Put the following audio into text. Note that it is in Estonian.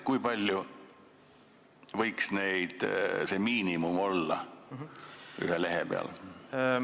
Kui suur see miinimum võiks ühe lehe peal olla?